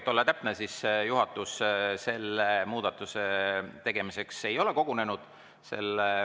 Et olla täpne, ütlen, et juhatus selle muudatuse tegemiseks ei ole kogunenud.